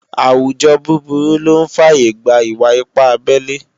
àwùjọ búburú lọ́ ń fàyè gba ìwà-ipá abelé